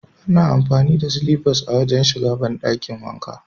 Ana amfani da silifas ne wajen shiga banɗakin wanka.